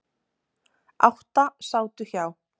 Átta sátu hjá.